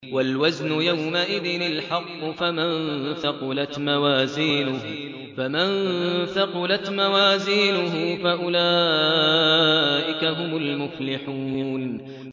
وَالْوَزْنُ يَوْمَئِذٍ الْحَقُّ ۚ فَمَن ثَقُلَتْ مَوَازِينُهُ فَأُولَٰئِكَ هُمُ الْمُفْلِحُونَ